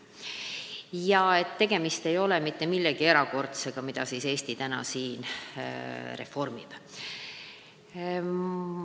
Nii et Eesti reformi näol ei ole tegemist mitte millegi erakordsega.